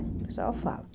O pessoal fala.